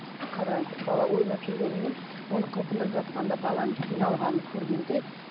қараңыз бала ойнап жүргенімен оны қылқындырып жатқанда баланың қиналғанын көргенде